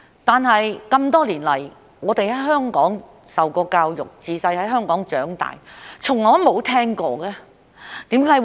可是，多年來，我們在香港受教育，自小在香港長大，卻從來都沒有聽過。